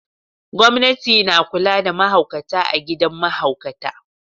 Gwamnati na kula da mahaukata a gidan mahaukata.